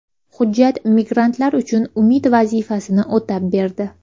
Hujjat migrantlar uchun umid vazifasini o‘tab berdi.